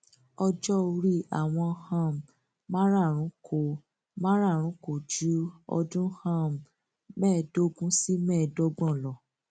ó ní òun kọ lòun ń bọ àwọn tóun ti bí yìí allah ni